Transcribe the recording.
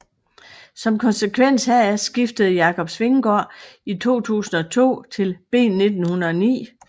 Som konsekvens heraf skiftede Jacob Svinggaaard i 2002 til B1909